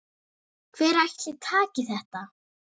Hver ætli taki þetta?